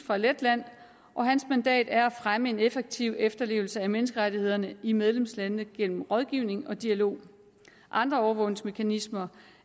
fra letland og hans mandat er at fremme en effektiv efterlevelse af menneskerettighederne i medlemslandene gennem rådgivning og dialog andre overvågningsmekanismer